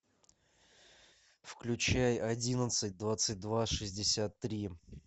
включай одиннадцать двадцать два шестьдесят три